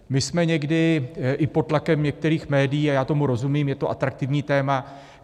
My jsme někdy i pod tlakem některých médií a já tomu rozumím, je to atraktivní téma.